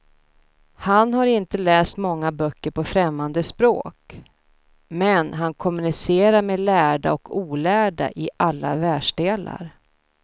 Han har inte läst många böcker på främmande språk, men han kommunicerar med lärda och olärda i alla världsdelar.